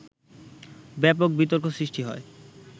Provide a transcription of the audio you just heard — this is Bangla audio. ব্যাপক বিতর্ক সৃষ্টি হয়